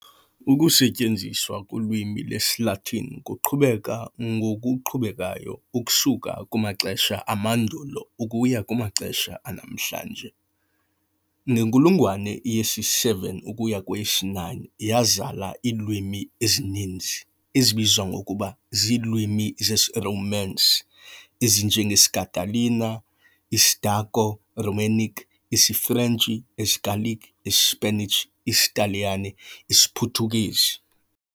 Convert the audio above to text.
Ukusetyenziswa kolwimi lwesiLatini kuqhubeka ngokuqhubekayo ukusuka kumaxesha amandulo ukuya kumaxesha anamhlanje. Ngenkulungwane yesi-7 ukuya kweyesi-9 yazala iilwimi ezininzi ezibizwa ngokuba ziilwimi zesiRomance, ezinje ngesiCatalan, isiDaco-Romanic, isiFrentshi, isiGallic, iSpanish, isiTaliyane, isiPhuthukezi.